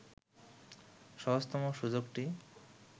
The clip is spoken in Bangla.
সহজতম সুযোগটি